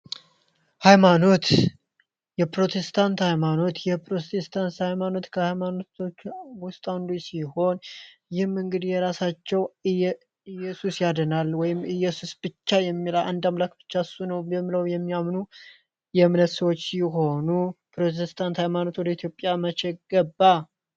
ሃይማኖት የፕሮቴስታንት ሀይማኖት የፕሮቴስታንት ሀይማኖት ከሃይማኖቶች ውስጥ አንዱ ሲሆን ይህን እንግዲ ይህም በራሳቸው እየሱስ ያድናል ወይም እየሱስ አንድ አምላክ ብቻ ነው በማለት የሚያምኑ የእምነት ሰው ሲሆኑ የፕሮቴስታንት ሀይማኖት ወደ ኢትዮጵያ መቼ ገባ?